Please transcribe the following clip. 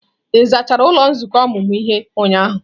Ị zachara ụlọ nzukọ ọmụmụ ihe ụnyahụ?